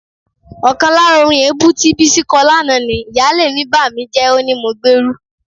Ọkàn lára orin èébú tí Bísí kọ lánàá ni: "Ìyáálé mi bàmíjẹ́, ó ní mo gbérú..."